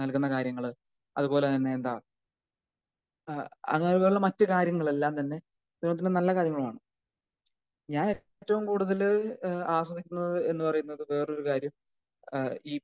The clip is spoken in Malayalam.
നൽകുന്ന കാര്യങ്ങള് അത് പോലെ തന്നെ എന്താ ഏഹ് അങ്ങനെ ഉള്ള മറ്റു കാര്യങ്ങളെല്ലാം തന്നെ നല്ല കാര്യങ്ങളാണ് ഞാനേറ്റവും കൂടുതൽ ഏഹ് ആനുകീലിക്കുന്നത് എന്ന് പറയുന്നത് വേറൊരു കാര്യം. ഈ